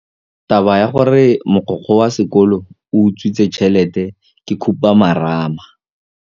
Taba ya gore mogokgo wa sekolo o utswitse tšhelete ke khupamarama.